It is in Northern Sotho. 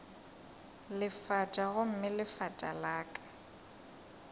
lefatša gomme lefatša la ka